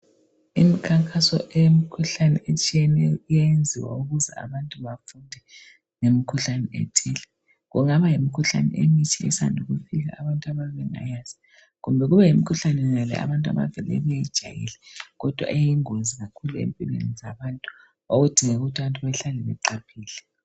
Imikhankazo eyemikhuhlane etshiyeneyo iyayenziwa ukuze abantu bafunde ngemikhuhlane ethile. Kungaba kuyimikhuhlane emitsha esanda ukufika, abantu abayabe bengayazi. Kumbe kube yimikhuhlane yonale abantu abavele beyijayele, kodwa eyingozi kakhulu empilweni zabantu. okudingeka ukuthi abantu bahlale beqaphele.